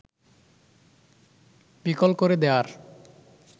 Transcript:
বিকল করে দেয়ার